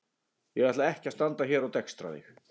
Ég ætla ekki að standa hér og dekstra þig.